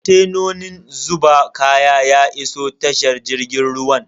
Kontenan zuba kaya ya iso tashar jirgin ruwan.